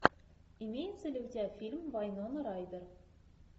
имеется ли у тебя фильм вайнона райдер